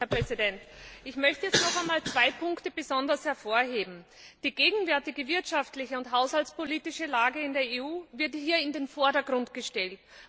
Herr Präsident! Ich möchte jetzt noch einmal zwei Punkte besonders hervorheben Die gegenwärtige wirtschaftliche und haushaltspolitische Lage in der EU wird hier in den Vordergrund gestellt.